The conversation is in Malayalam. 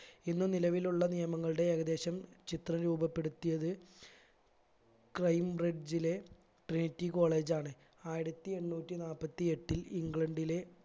ഇന്ന് നിലവിലുള്ള നിയമങ്ങളുടെ ഏകദേശം ചിത്രം രൂപപ്പെടുത്തിയത് crime bridge ലെ trinity college ആണ് ആയിരത്തി എണ്ണൂറ്റി നാപ്പത്തി എട്ടിൽ ഇംഗ്ലണ്ടിലെ